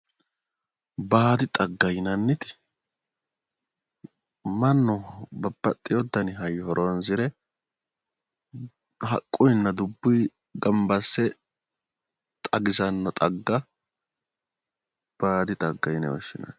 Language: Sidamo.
Baadi xgga yianniti, mannu babbaxewo dani hayyo horoonsire haqquyiinna dubbuyi masse xagisanno xagga baadi xagga yine woshshinanni.